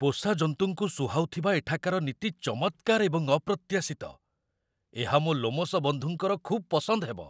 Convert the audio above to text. ପୋଷାଜନ୍ତୁଙ୍କୁ ସୁହାଉଥିବା ଏଠାକାର ନୀତି ଚମତ୍କାର ଏବଂ ଅପ୍ରତ୍ୟାଶିତ ଏହା ମୋ ଲୋମଶ ବନ୍ଧୁଙ୍କର ଖୁବ୍ ପସନ୍ଦ ହେବ!